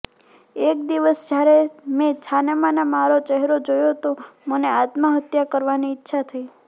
એક દિવસ જ્યારે મેં છાનામાના મારો ચહેરો જોયો તો મને આત્મહત્યા કરવાની ઈચ્છા થઇ